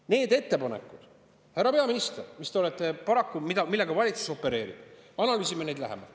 Need ettepanekud, härra peaminister, millega valitsus opereerib – analüüsime neid lähemalt.